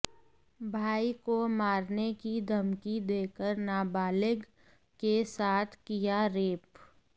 भाई को मारने की धमकी देकर नाबालिग के साथ किया रेप